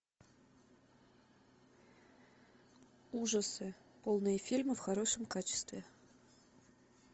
ужасы полные фильмы в хорошем качестве